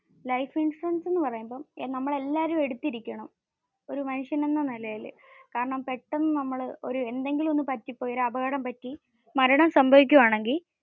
Life insurance എന്ന പറയുമ്പോ നമ്മൾ എല്ലാരും എടുത്തിരിക്കണമ് ഒരു മനുഷ്യൻ എന്ന നിലയിൽ. കാരണം പെട്ടന്ന് നമ്മൾ ഒരു എന്തെങ്കിലും പറ്റി ഒരു അപകടം പറ്റി മരണത്തെ സംഭവിക്കുവാണെങ്കിൽ